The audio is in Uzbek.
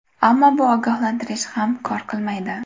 Ammo bu ogohlantirish ham kor qilmaydi.